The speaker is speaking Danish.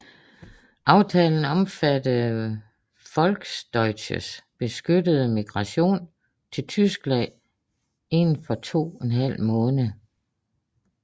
Aftalen omfattede Volksdeutsches beskyttede migration til Tyskland inden for to en halv måned